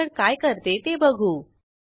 आता success checkout dot JSP वर जाऊ